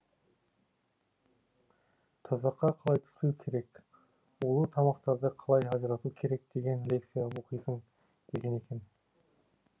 тұзаққа қалай түспеу керек улы тамақтарды қалай ажырату керек деген лекция оқисың деген екен